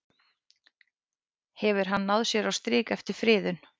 Hefur hann náð sér á strik eftir friðun?